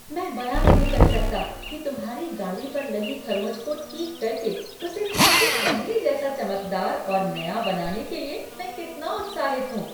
मैं बयां नहीं कर सकता कि तुम्हारी गाड़ी पर लगी खरोंच को ठीक करके उसे फिर से पहले जैसा चमकदार और नया बनाने के लिए मैं कितना उत्साहित हूँ।